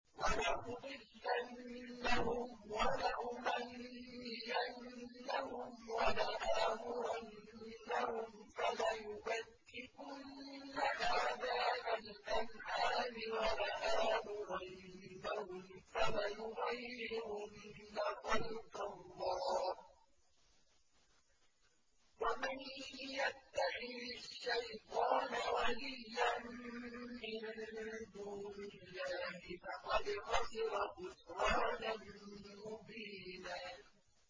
وَلَأُضِلَّنَّهُمْ وَلَأُمَنِّيَنَّهُمْ وَلَآمُرَنَّهُمْ فَلَيُبَتِّكُنَّ آذَانَ الْأَنْعَامِ وَلَآمُرَنَّهُمْ فَلَيُغَيِّرُنَّ خَلْقَ اللَّهِ ۚ وَمَن يَتَّخِذِ الشَّيْطَانَ وَلِيًّا مِّن دُونِ اللَّهِ فَقَدْ خَسِرَ خُسْرَانًا مُّبِينًا